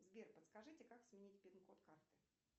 сбер подскажите как сменить пин код карты